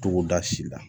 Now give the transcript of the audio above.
Togoda si la